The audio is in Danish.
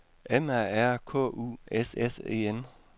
M A R K U S S E N